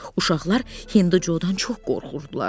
Uşaqlar Hindo Co-dan çox qorxurdular.